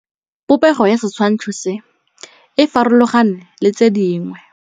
Popêgo ya setshwantshô se, e farologane le tse dingwe.